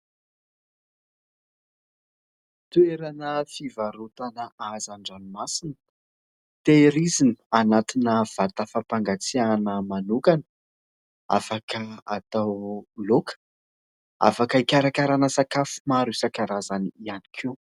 Toerana fivarotana hazandranomasina, tehirizina anatina vata fampangatsiahana manokana afaka hatao laoka, afaka hikarakarana sakafo maro isan-karazany ihany koa.